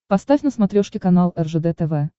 поставь на смотрешке канал ржд тв